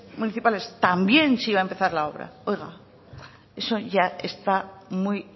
municipales también se iba a empezar la obra oiga eso ya está muy